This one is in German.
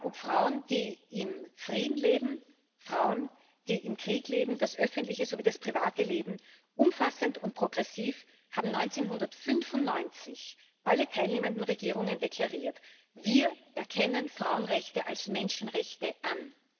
ob Frauen, die im Frieden leben, Frauen, die im Krieg leben, das öffentliche sowie das private Leben umfassend und progressiv haben 1995 alle teilnehmenden Regierungen deklariert Wir erkennen Frauenrechte als Menschenrechte an.